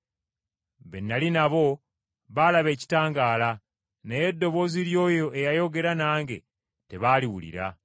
Be nnali nabo baalaba ekitangaala, naye eddoboozi ly’oyo eyayogera nange tebaaliwulira.